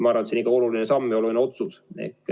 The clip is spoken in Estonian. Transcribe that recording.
Ma arvan, see on oluline samm ja oluline otsus.